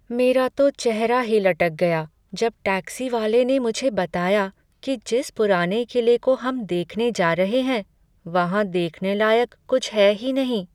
मेरा तो चेहरा ही लटक गया जब टैक्सी वाले ने मुझे बताया कि जिस पुराने किले को हम देखने जा रहे हैं वहाँ देखने लायक कुछ है ही नहीं।